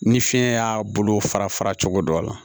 Ni fiɲɛ y'a bolo fara fara cogo dɔ la